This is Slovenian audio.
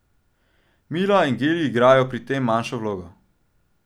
Mila in geli igrajo pri tem manjšo vlogo.